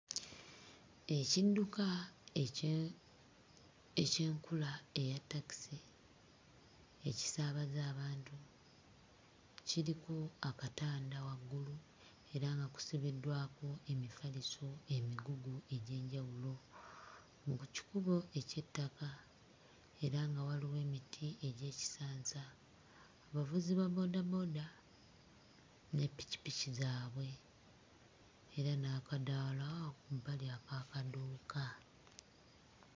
Ekidduka ekye... eky'enkula eya takisi ekisaabaza abantu kiriko akatanda waggulu era nga kusibiddwako emifaliso, emigugu egy'enjawulo mu kikubo eky'ettaka era nga waliwo emiti egy'ekisansa, abavuzi ba bboodabooda ne ppikipiki zaabwe era n'akadaala ku bbali ak'akaduuka.